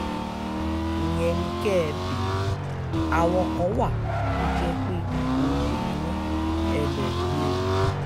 ìyẹn ni kẹ́ ẹ béèrè àwọn kan wà tó jẹ́ pé olè ni wọ́n ẹ lọ́ọ́ gbé wọn